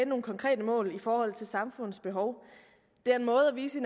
nogle konkrete mål i forhold til samfundets behov det er en måde at vise